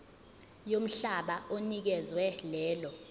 yomhlaba onikezwe lelo